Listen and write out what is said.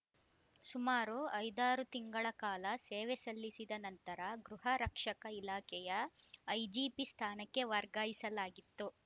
ಸುಮಾರು ಐದಾರು ತಿಂಗಳ ಕಾಲ ಸೇವೆ ಸಲ್ಲಿಸಿದ ನಂತರ ಗೃಹ ರಕ್ಷಕ ಇಲಾಖೆಯ ಐಜಿಪಿ ಸ್ಥಾನಕ್ಕೆ ವರ್ಗಾಯಿಸಲಾಗಿತ್ತು